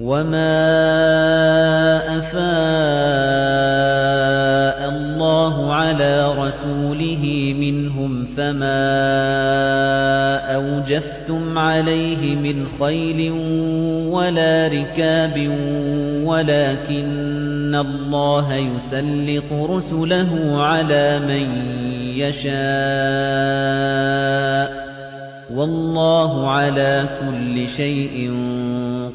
وَمَا أَفَاءَ اللَّهُ عَلَىٰ رَسُولِهِ مِنْهُمْ فَمَا أَوْجَفْتُمْ عَلَيْهِ مِنْ خَيْلٍ وَلَا رِكَابٍ وَلَٰكِنَّ اللَّهَ يُسَلِّطُ رُسُلَهُ عَلَىٰ مَن يَشَاءُ ۚ وَاللَّهُ عَلَىٰ كُلِّ شَيْءٍ